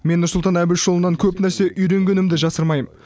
мен нұрсұлтан әбішұлынан көп нәрсе үйренгенімді жасырмаймын